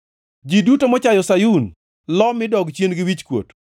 Ji duto mochayo Sayun lo mi dog chien gi wichkuot.